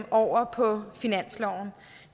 over på finansloven